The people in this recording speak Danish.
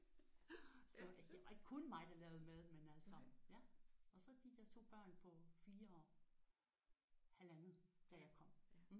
Det var ikke kun mig der lavede mad men altså ja og så de der 2 børn på 4 og 1,5 da jeg kom